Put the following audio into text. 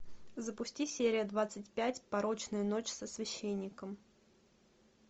запусти серия двадцать пять порочная ночь со священником